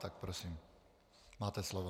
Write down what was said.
Tak prosím, máte slovo.